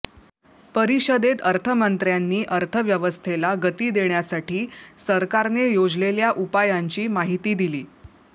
परिषदेत अर्थमंत्र्यांनी अर्थव्यवस्थेला गती देण्यासाठी सरकारने योजलेल्या उपायांची माहिती दिली